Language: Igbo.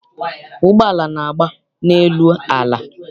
Ụgbọala na-agba n'elu ala.